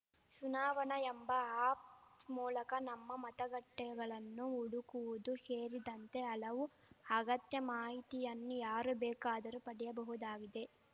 ಚುನಾವಣಾ ಎಂಬ ಆಪ್‌ ಮೂಳಕ ನಮ್ಮ ಮತಗಟ್ಟೆಗಳನ್ನು ಹುಡುಕುವುದು ಶೇರಿದಂತೆ ಹಲವು ಅಗತ್ಯ ಮಾಹಿತಿಯನ್ನು ಯಾರು ಬೇಕಾದರೂ ಪಡೆಯಬಹುದಾಗಿದೆ